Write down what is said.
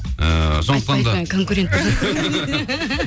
ыыы сондықтан да